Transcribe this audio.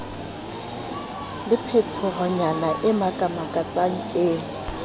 le phetohonyana e makamakatsang eo